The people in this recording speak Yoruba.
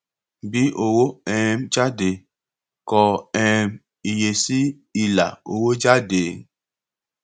bí owó um jáde kọ um iye sí ilà owó jáde